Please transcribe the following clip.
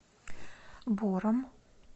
бором